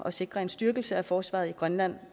at sikre en styrkelse af forsvaret i grønland